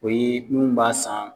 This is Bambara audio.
O ye munnu b'a san